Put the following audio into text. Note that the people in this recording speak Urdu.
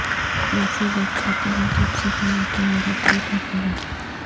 ایسے وقت ہوتے ہیں جب صرف ماں کی محبت ہوتی ہے